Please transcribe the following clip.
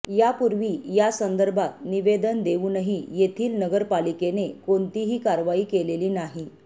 यापूर्वी यासंदर्भात निवेदन देवूनही येथील नगरपालिकेने कोणतीही कारवाई केलेली नाही